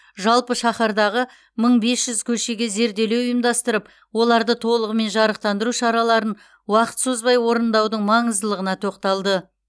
жалпы шаһардағы мың бес жүз көшеге зерделеу ұйымдастырып оларды толығымен жарықтандыру шараларын уақыт созбай орындаудың маңыздылығына тоқталды